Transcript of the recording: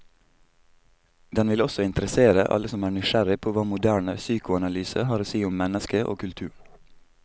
Den vil også interessere alle som er nysgjerrig på hva moderne psykoanalyse har å si om mennesket og kulturen.